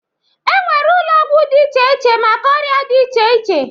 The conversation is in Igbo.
E nwere ụlọ ọgwụ dị iche iche maka ọrịa dị iche iche.